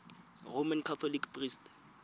roman catholic priest